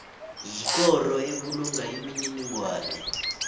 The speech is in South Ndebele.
yikoro ebulunga imininingwana